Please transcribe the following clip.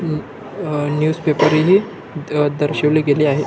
अं अ newspaper रिली अ दर्शविले गेले आहे.